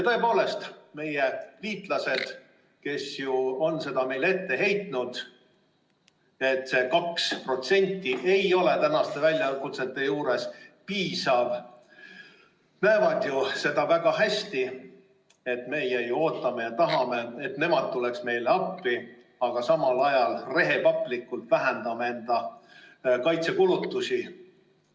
Tõepoolest, meie liitlased, kes ju on meile ette heitnud, et see 2% ei ole tänaste väljakutsete juures piisav, näevad väga hästi, et meie ootame ja tahame, et nemad tuleks meile appi, aga samal ajal rehepaplikult vähendame enda kaitsekulutusi.